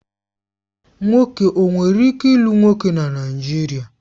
Nwoke ọ nwere ike lụ nwoke na Naijiria?